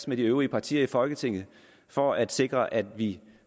med de øvrige partier i folketinget for at sikre at vi